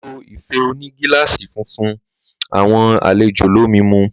Ló ìfé òní gílàsí fifún àwon àlẹjó lòmí mú.